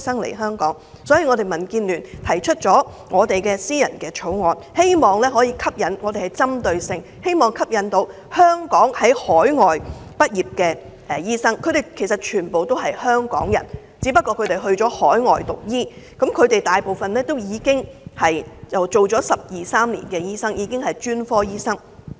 所以，民主建港協進聯盟提出了私人條例草案，希望可以針對性地吸引在海外讀醫的香港人，他們全部都是香港人，只不過去了海外讀醫科，他們大部分都是工作了十二三年的專科醫生。